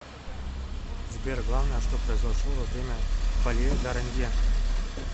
сбер главное что произошло во время пале гарнье